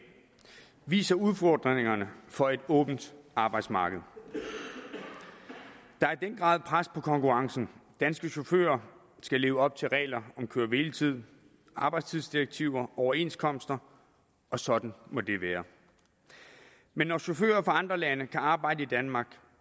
viser udfordringerne for et åbent arbejdsmarked der er i den grad pres på konkurrencen danske chauffører skal leve op til regler om køre hvile tid arbejdstidsdirektiver overenskomster og sådan må det være men når chauffører fra andre lande kan arbejde i danmark